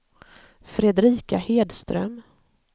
Fredrika Hedström